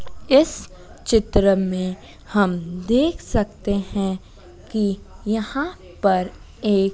इस चित्र में हम देख सकते हैं कि यहां पर एक--